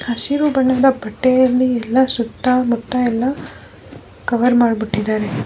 ಹಸಿರು ಬಣ್ಣದ ಬಟ್ಟೆಯಲ್ಲಿ ಎಲ್ಲ ಸುತ್ತ ಮುತ್ತ ಎಲ್ಲ ಕವರ್ ಮಾಡ್ಬಿಟ್ಟಿದ್ದಾರೆ .